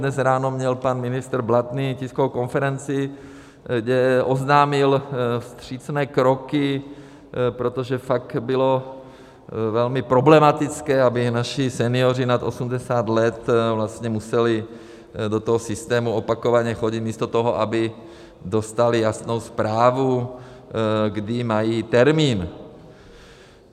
Dnes ráno měl pan ministr Blatný tiskovou konferenci, kde oznámil vstřícné kroky, protože fakt bylo velmi problematické, aby naši senioři nad 80 let vlastně museli do toho systému opakovaně chodit místo toho, aby dostali jasnou zprávu, kdy mají termín.